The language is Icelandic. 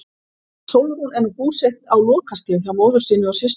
Sólrún er nú búsett á Lokastíg hjá móður sinni og systur.